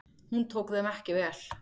Hún tók þeim ekki vel.